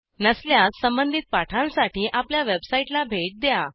नसल्यास संबधित पाठांसाठी आपल्या वेबसाईटला भेट द्या